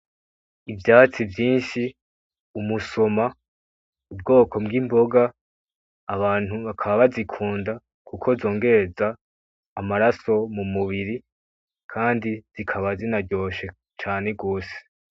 Ivyatsi vyinshi umusoma, ubwoko bw'imboga abantu bakaba bazikunda kuko nzongereza amaraso mu mubiri kandi zikaba zinaryoshe cane gose.